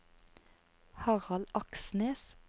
Harald Aksnes